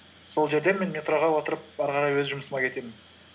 сол жерден мен метроға отырып ары қарай өз жұмысыма кетемін